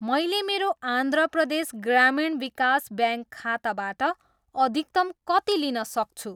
मैले मेरो आन्ध्र प्रदेश ग्रामीण विकास ब्याङ्क खाताबाट अधिकतम कति लिन सक्छु?